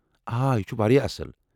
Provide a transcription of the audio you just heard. آ، یہِ چُھ وایٛاہ اصل۔